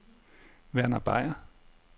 Verner Beyer